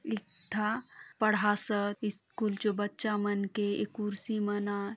इकथा पढ़ासत् स्कूल जो बच्चा मन के ए खुर्सि मन ह--